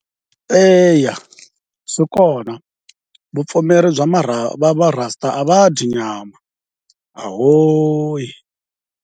Eya swi kona vupfumeri bya Marasta a va dyi nyama ahoi.